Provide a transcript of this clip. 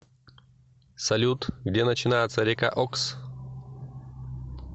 салют где начинается река окс